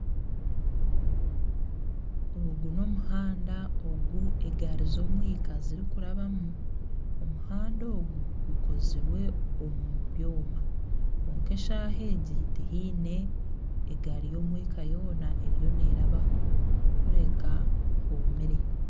Ogu n'omuhanda ogu egaari z'omwika zirikurabamu, omuhanda ogu gukozirwe omu byoma. Kwonka eshaaha egi tihaine egaari y'omwika yona eriyo nerabaho, kureka hoomire.